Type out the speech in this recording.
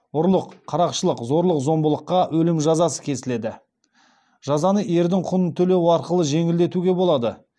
ұрлық қарақшылық зорлық зомбылыққа өлім жазасы кесіледі жазаны ердің құнын төлеу арқылы жеңілдетуге болады